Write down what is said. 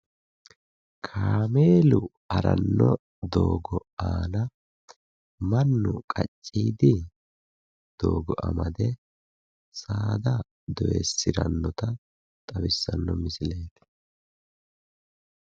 Kaameelu haranno doogo aana mannu qacciidi doogo amade saada doyissirannota xawissanno misileeti.